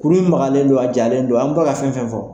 K juru in maloyalen don ,a jalen don , an bɛ ka fɛn o fɛn fɔ.